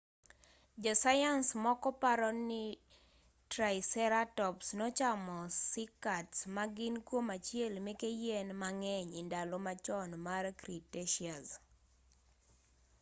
jo sayans moko paroni triceratops nochamo cycads ma gin kuom achiel meke yien ma ng'eny e ndalo machon mar cretaceous